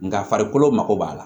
Nka farikolo mako b'a la